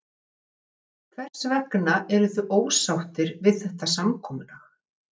Höskuldur Kári: Hvers vegna eruð þið ósáttir við þetta samkomulag?